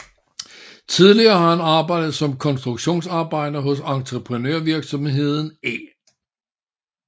Tidligere har han arbejdet som konstruktionsarbejder hos entreprenørvirksomheden E